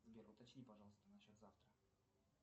сбер уточни пожалуйста на счет завтра